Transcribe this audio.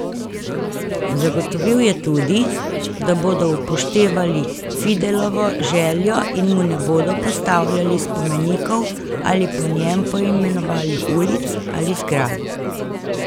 Zagotovil je tudi, da bodo upoštevali Fidelovo željo in mu ne bodo postavljali spomenikov ali po njem poimenovali ulic ali zgradb.